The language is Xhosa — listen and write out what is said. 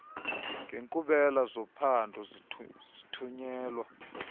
ngenkqubela zophando zithunyelwa